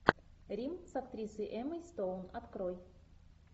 рим с актрисой эммой стоун открой